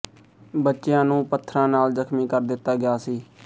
ਬੱਚਿਆਂ ਨੂੰ ਪੱਥਰਾਂ ਨਾਲ ਜਖ਼ਮੀ ਕਰ ਦਿੱਤਾ ਗਿਆ ਸੀ